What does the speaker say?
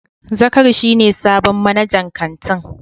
Zakari shi ne sabon manajan kantin.